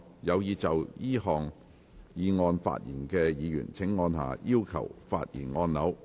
有意就這項議案發言的議員請按下"要求發言"按鈕。